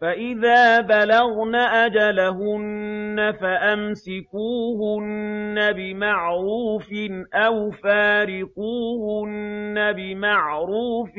فَإِذَا بَلَغْنَ أَجَلَهُنَّ فَأَمْسِكُوهُنَّ بِمَعْرُوفٍ أَوْ فَارِقُوهُنَّ بِمَعْرُوفٍ